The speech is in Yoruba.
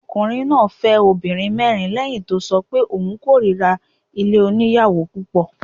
Arákùnrin náà fẹ́ obìnrin mìíràn lẹ́hìn tó ṣọ pé òun kórira ilé oníyàwò púpọ̀.